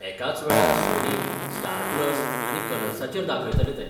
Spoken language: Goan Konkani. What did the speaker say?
एकाच वेळार सोनी, स्टार प्लस आनी कलर्साचेर दाखयतले ते.